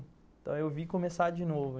Então eu vi começar de novo.